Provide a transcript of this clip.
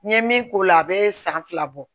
N ye min k'o la a bɛ san fila bɔ